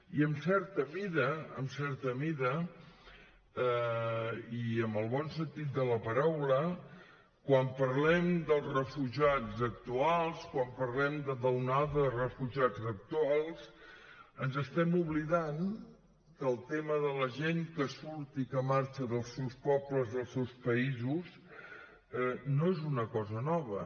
i en certa mida en certa mida i en el bon sentit de la paraula quan parlem dels refugiats actuals quan parlem de l’onada de refugiats actuals ens estem oblidant que el tema de la gent que surt i que marxa dels seus pobles dels seus països no és una cosa nova